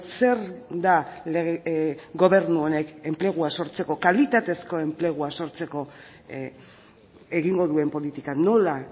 zer da gobernu honek enplegua sortzeko kalitatezko enplegua sortzeko egingo duen politika nola